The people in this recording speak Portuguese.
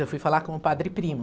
Eu fui falar com o padre Primo.